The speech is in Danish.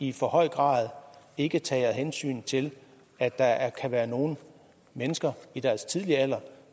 i for høj grad ikke tager hensyn til at der kan være nogle mennesker i deres tidlige alder